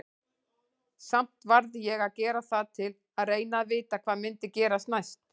Samt varð ég að gera það til að reyna að vita hvað myndi gerast næst.